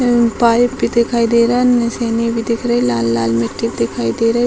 Pipe भी दिखाई दे रहा है निसैनी भी दिख रही लाल-लाल मिट्टी दिखाई दे रही है।